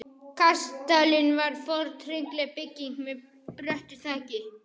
Kastalinn var forn hringlaga bygging með bröttu þaki.